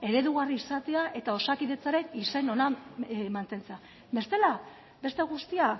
eredugarri izatea eta osakidetzaren izen ona mantentzea bestela beste guztia